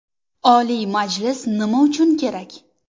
Oliy Majlis nima uchun kerak?